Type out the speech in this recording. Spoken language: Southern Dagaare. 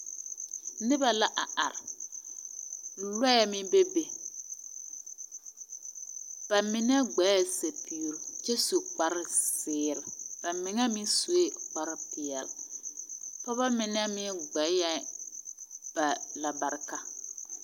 Noba la a are, lͻԑ meŋ beebe. Ba mine gbaԑ sapigiri kyԑ su kpare zeere, ba mine meŋ sue kpare peԑle. Pͻgebͻ mine meŋ gbaԑ ba lamarekare.